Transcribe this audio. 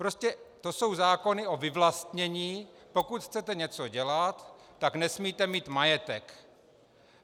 Prostě to jsou zákony o vyvlastnění: pokud chcete něco dělat, tak nesmíte mít majetek.